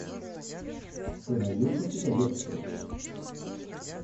ты найдешь у себя лекцию